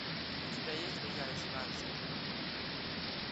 у тебя есть друзья из франции